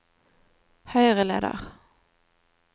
høyreleder